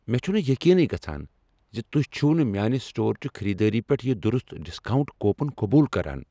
مےٚ چُھنہٕ یقینٕی گژھان زِ تُہۍ چھو نہٕ میانِہ سٹور چہ خریدٲری پیٹھ یہ درست ڈسکاؤنٹ کوپن قبول کران۔